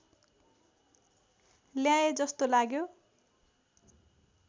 ल्याए जस्तो लाग्यो